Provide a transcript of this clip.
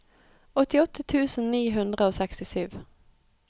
åttiåtte tusen ni hundre og sekstisju